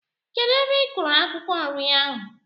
Kedụ ebe i kúrú akwukwo nri ahụ?